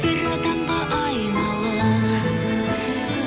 бір адамға айналып